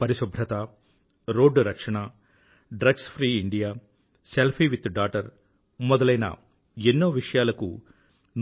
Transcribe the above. పరిశుభ్రత రోడ్డు రక్షణ drugs free India selfie with daughter మొదలైన ఎన్నో విషయాలకు